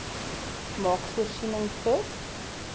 maak voorsiening vir